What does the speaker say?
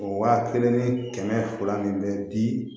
Waa kelen ni kɛmɛ fila min bɛ di